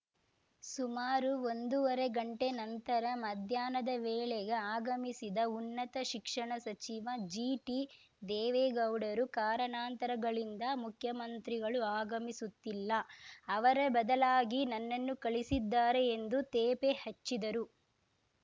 ಸುಮಾರು ಒಂದೂವರೆ ಗಂಟೆ ನಂತರ ಮಧ್ಯಾಹ್ನದ ವೇಳೆಗೆ ಆಗಮಿಸಿದ ಉನ್ನತ ಶಿಕ್ಷಣ ಸಚಿವ ಜಿಟಿದೇವೇಗೌಡರು ಕಾರಣಾಂತರಗಳಿಂದ ಮುಖ್ಯಮಂತ್ರಿಗಳು ಆಗಮಿಸುತ್ತಿಲ್ಲ ಅವರ ಬದಲಾಗಿ ನನ್ನನ್ನು ಕಳಿಸಿದ್ದಾರೆ ಎಂದು ತೇಪೆ ಹಚ್ಚಿದರು